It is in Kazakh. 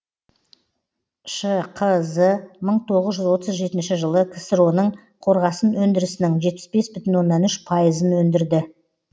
шқз мың тоғыз жүз отыз жетінші жылы ксро ның қорғасын өндірісінің жетпіс бес бүтін оннан үш пайызын өндірді